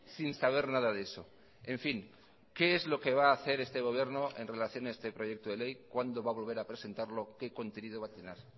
sin saber nada de eso en fin qué es lo que va a hacer este gobierno en relación a este proyecto de ley cuándo va a volver a presentarlo qué contenido va a tener